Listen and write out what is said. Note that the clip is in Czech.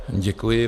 Děkuji.